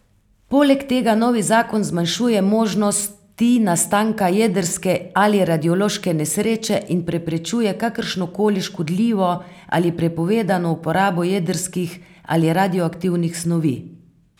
Poleg tega novi zakon zmanjšuje možnosti nastanka jedrske ali radiološke nesreče in preprečuje kakršnokoli škodljivo ali prepovedano uporabo jedrskih ali radioaktivnih snovi.